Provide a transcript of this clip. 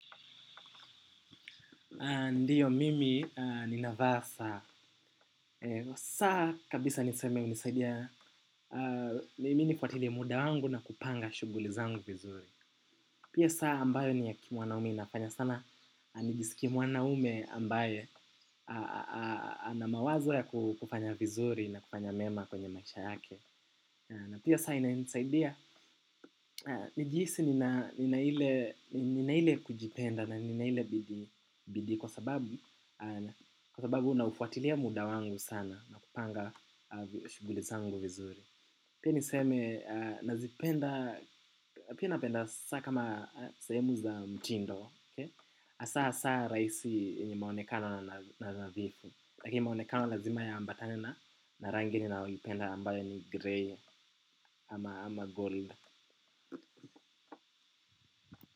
Ndiyo mimi ninavaa saa. Saa kabisa niseme hunisaidia mimi nifuatilie muda wangu na kupanga shughuli zangu vizuri. Pia saa ambayo ni ya kimwanaume inafanya sana, nijisikie mwanaume ambaye ana mawazo ya kufanya vizuri na kufanya mema kwenye maisha yake. Na pia saa inanisaidia nijihisi nina ile kujipenda na nina ile bidii kwa sababu naufuatilia muda wangu sana na kupanga shughuli zangu vizuri. Pia niseme, nazipenda, pia napenda saa kama sehemu za mtindo, hasaa hasaa rahisi yenye maonekano na nadhifu lakini maonekano lazima yaambatane na rangi ninaoipenda ambayo ni grey ama gold.